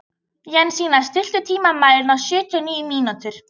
Jensína, stilltu tímamælinn á sjötíu og níu mínútur.